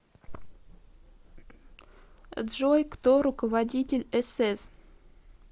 джой кто руководитель эсэс